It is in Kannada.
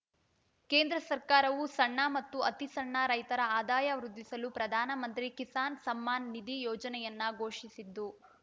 ಕೇಂದ್ರ ಸರ್ಕಾರವು ಸಣ್ಣ ಮತ್ತು ಅತಿ ಸಣ್ಣ ರೈತರ ಆದಾಯ ವೃದ್ಧಿಸಲು ಪ್ರಧಾನಮಂತ್ರಿ ಕಿಸಾನ್‌ ಸಮ್ಮಾನ್‌ ನಿಧಿ ಯೋಜನೆಯನ್ನ ಘೋಷಿಸಿದ್ದು